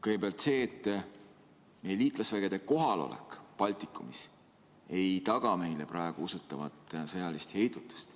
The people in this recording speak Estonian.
Kõigepealt see, et meie liitlasvägede kohalolek Baltikumis ei taga meile praegu usutavat sõjalist heidutust.